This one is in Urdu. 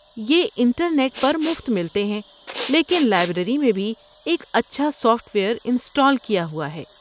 یہ انٹرنیٹ پر مفت ملتے ہیں، لیکن لائبریری میں بھی ایک اچھا سافٹ ویئر انسٹال کیا ہوا ہے۔